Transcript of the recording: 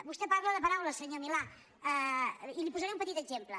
vostè parla de paraules senyor milà i li’n posaré un petit exemple